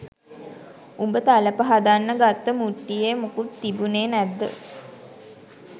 උඹ තලප හදන්න ගත්ත මුට්ටියෙ මොකුත් තිබුනෙ නැද්ද?